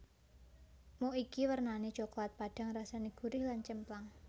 Muk iki wernane coklat padhang rasane gurih lan cemplang